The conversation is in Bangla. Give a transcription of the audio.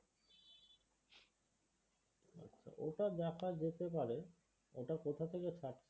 ওটা দেখা যেতে পারে ওটা কোথা থেকে ছাড়